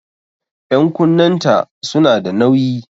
Ƴan'kunnen ta su na da nauƴi